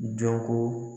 Dɔnko